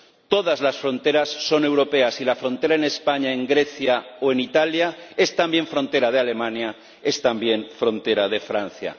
Todas las fronteras son europeas y la frontera en España, en Grecia o en Italia es también frontera de Alemania, es también frontera de Francia.